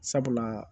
Sabula